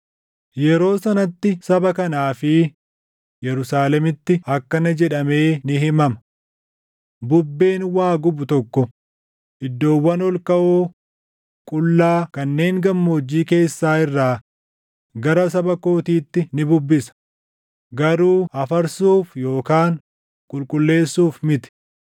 Yeroo sanatti saba kanaa fi Yerusaalemitti akkana jedhamee ni himama; “Bubbeen waa gubu tokko iddoowwan ol kaʼoo qullaa kanneen gammoojjii keessaa irraa gara saba kootiitti ni bubbisa; garuu afarsuuf yookaan qulqulleessuuf miti;